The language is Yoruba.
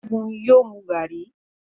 Segun yóò mú garri.